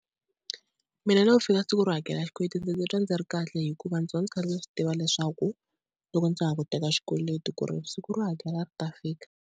Mina loko ku fika siku ro hakela xikweleti ndzi ndzi twa ndzi ri kahle hikuva ndzi va kha ndzi swi tiva leswaku loko ndza ha ku teka xikweleti ku ri siku ro hakela ri ta fika.